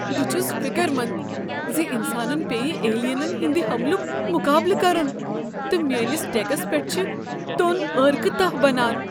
بہٕ چھُس فکرمنٛد ز انسانن پیٚیہٕ ایلینن ہنٛد حملک مقابلہٕ کرُن تہٕ میٲنس ڈیكس پیٹھ چھ توٚن عٲرقہٕ تاہ بنان۔